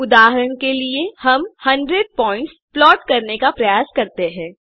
उदाहरण के लिए हम 100 पॉइंट्स प्लॉट करने का प्रयास करते हैं